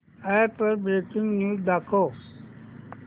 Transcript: app वर breaking news दाखव